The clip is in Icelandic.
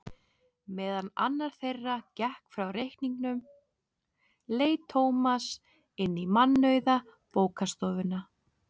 Meðan annar þeirra gekk frá reikningnum leit Tómas inn í mannauða bókastofuna.